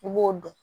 I b'o dɔn